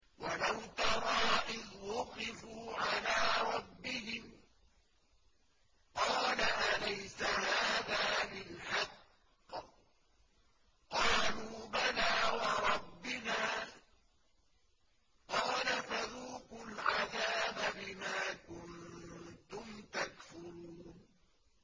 وَلَوْ تَرَىٰ إِذْ وُقِفُوا عَلَىٰ رَبِّهِمْ ۚ قَالَ أَلَيْسَ هَٰذَا بِالْحَقِّ ۚ قَالُوا بَلَىٰ وَرَبِّنَا ۚ قَالَ فَذُوقُوا الْعَذَابَ بِمَا كُنتُمْ تَكْفُرُونَ